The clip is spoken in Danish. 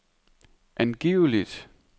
angiveligt